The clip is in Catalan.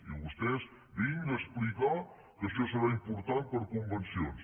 i vostès vinga a explicar que això serà important per a convencions